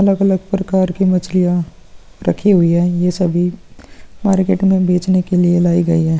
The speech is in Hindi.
अलग-अलग प्रकार की मछलियां रखी हुई हैं। ये सभी मार्केट में बेचने के लिए लाई गई हैं।